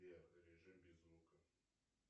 сбер режим без звука